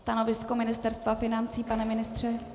Stanovisko Ministerstva financí, pane ministře?